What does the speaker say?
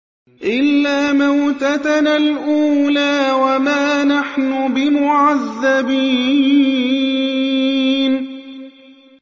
إِلَّا مَوْتَتَنَا الْأُولَىٰ وَمَا نَحْنُ بِمُعَذَّبِينَ